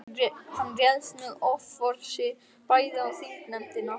Hann réðst með offorsi bæði á þingnefndina og